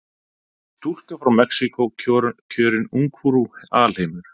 Stúlka frá Mexíkó kjörin ungfrú alheimur